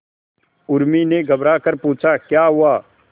उर्मी ने घबराकर पूछा क्या हुआ